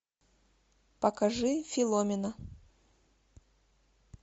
покажи филомена